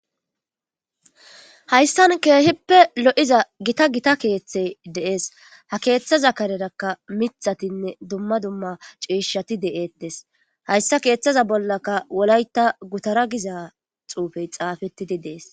hayssan keehippe lo7iza gita gita keeththey deees ha keeththa zakarerakka mithatinne dumma dumma ciishati de7ettes hayssa keeththaza bollaka wolayta gutara giza xuufey xaafettidi dees